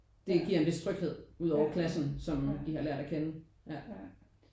Det giver en vis tryghed ud over klassen som de har lært at kende ja